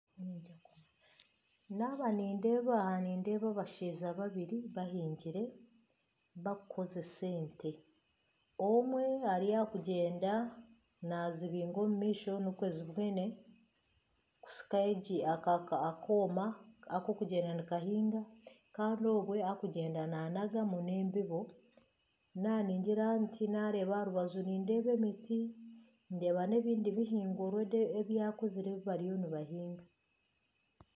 Abashaija babiri bahingire barikukoresa ente omwe ari aha kugyenda nazibiinga omu maisho zibone kusika akooma akarikugyenda nikahinga kandi obwe arikugyenda nanagamu nana embibo naaba ningira nti nindeeba emiti ndeeba nana ebindi bihingwa ebyakuzire ebibariyo nibahinga .